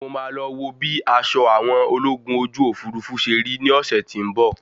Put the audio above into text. Mo máa lọ wo bí aṣọ àwọn ológun ojú òfurufú ṣe rí ní ọ̀sẹ́ tí ń bọ̀.